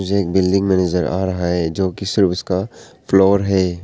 एक building manager आ रहा है जो की सिर्फ उसका फ्लोर है।